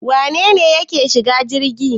Wane ne yake shiga jirgi